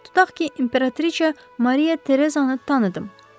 Tutaq ki, imperatrica Maria Tereza'nı tanıdım.